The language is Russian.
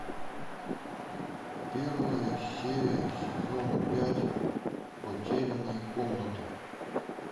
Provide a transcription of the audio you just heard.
первая серия сезона пять потерянная комната